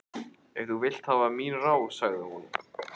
Ef þú vilt hafa mín ráð, sagði hún.